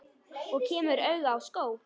Og kemur auga á skó.